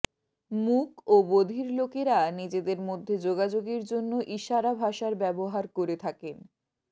মূক ও বধির লোকেরা নিজেদের মধ্যে যোগাযোগের জন্য ইশারা ভাষার ব্যবহার করে থাকেন